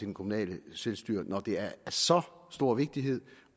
det kommunale selvstyre når det er af så stor vigtighed